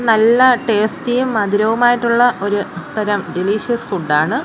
നല്ല ടേസ്റ്റിയും മധുരവുമായിട്ടുള്ള ഒരു തരം ഡെലിഷ്യസ് ഫുഡ് ആണ്.